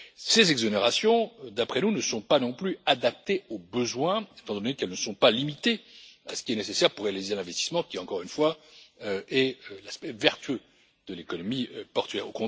Ces exonérations, d'après nous, ne sont pas non plus adaptées aux besoins, étant donné qu'elles ne sont pas limitées à ce qui est nécessaire pour réaliser l'investissement qui, encore une fois, est l'aspect vertueux de l'économie portuaire.